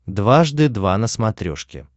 дважды два на смотрешке